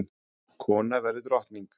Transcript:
Kona verður drottning!